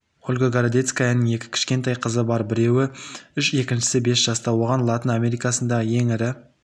ольга городецкаяның екі кішкентай қызы бар біреуі үш екіншісі бес жаста оған латын америкасындағы ең ірі